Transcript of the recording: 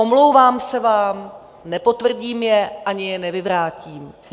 Omlouvám se vám, nepotvrdím je ani je nevyvrátím.